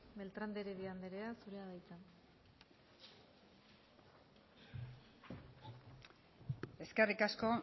beltrán de heredia andrea zurea da hitza eskerrik asko